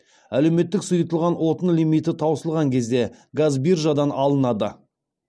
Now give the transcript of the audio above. әлеуметтік сұйытылған отын лимиті таусылған кезде газ биржадан алынады